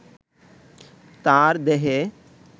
তার দেহে